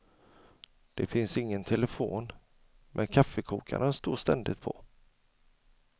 Det finns ingen telefon, men kaffekokaren står ständigt på.